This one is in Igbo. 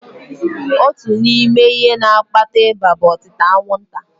Otu n'ime ihe na-akpata ịba bụ otịta anwụnta.